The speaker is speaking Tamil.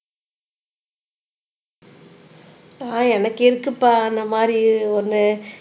அஹ் எனக்கு இருக்குப்பா அந்த மாதிரி ஒண்ணு